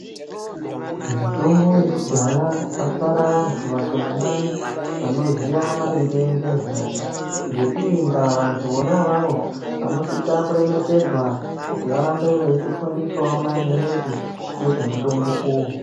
Mitombo yekudhaya vasara vantu vashomanani vanoziya maringe nezvayo ngeiyi nda vantu vona avava vanosisa kuremekedzwa kuti vahambe veitifundisa maningi ngezve mutombo uyu.